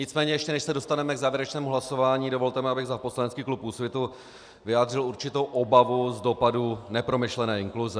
Nicméně ještě než se dostaneme k závěrečnému hlasování, dovolte mi, abych za poslanecký klub Úsvitu vyjádřil určitou obavu z dopadu nepromyšlené inkluze.